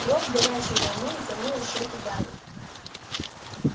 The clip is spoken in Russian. кровь горячей волной залила щёки гарри